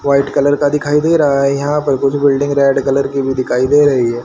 White colour का दिखाई दे रहा हैं यहां पर कुछ बिल्डिंग रेड कलर की भी दिखाई दे रही हैं।